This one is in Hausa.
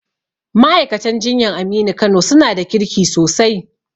Ma'aikatan jinyan Aminu Kano su na da kirki sosai